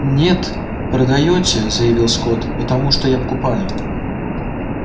нет продаёте заявил скотт потому что я покупаю